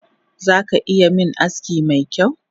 Zaka iya min aski mekyau?